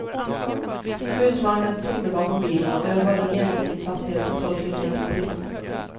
Husvagnen tyngde bakom bilen och jag höll en genomsnittshastighet på tolv kilometer i timmen.